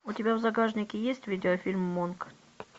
у тебя в загашнике есть видеофильм монк